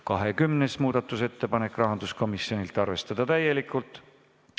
20. muudatusettepanek, rahanduskomisjonilt, arvestada täielikult.